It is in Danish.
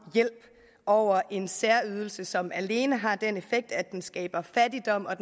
hjælp over en særydelse som alene har den effekt at den skaber fattigdom og